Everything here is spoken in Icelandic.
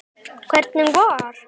Hvernig var?